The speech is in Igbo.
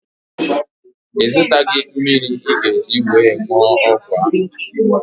Ị zụtaghị mmiri ị ga-eji were wụọ ọgwụ ahụ?